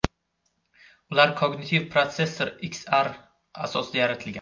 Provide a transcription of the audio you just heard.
Ular Cognitive Processor XR asosida yaratilgan.